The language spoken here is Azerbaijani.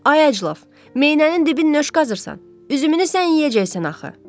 Ay aclaf, meynənin dibini nüş qazırsan? Üzümünü sən yeyəcəksən axı?